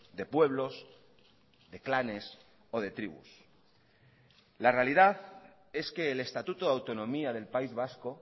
de pueblos de clanes o de tribus la realidad es que el estatuto de autonomía del país vasco